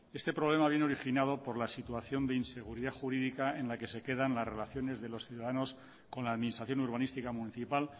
este problema vino originado por la situación de inseguridad jurídica en la que se quedan las relaciones de los ciudadanos con la administración urbanística municipal